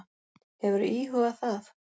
Hefurðu íhugað það?